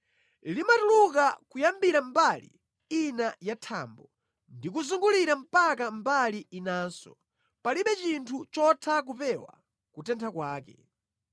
Limatuluka kuyambira mbali ina ya thambo ndi kuzungulira mpaka mbali inanso; palibe chinthu chotha kupewa kutentha kwake.